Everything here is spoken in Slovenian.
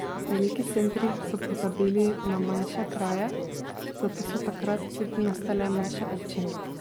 Veliki centri so pozabili na manjše kraje, zato so takrat tudi nastale manjše občine.